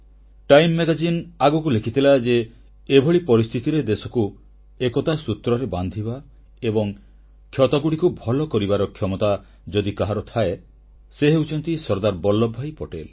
time magazine ଆଗକୁ ଲେଖିଥିଲା ଯେ ଏଭଳି ପରିସ୍ଥିତିରେ ଦେଶକୁ ଏକତା ସୂତ୍ରରେ ବାନ୍ଧିବା ଏବଂ କ୍ଷତଗୁଡ଼ିକୁ ଭଲ କରିବାର କ୍ଷମତା ଯଦି କାହାରି ଥାଏ ତେବେ ସେ ହେଉଛନ୍ତି ସର୍ଦ୍ଦାର ବଲ୍ଲଭଭାଇ ପଟେଲ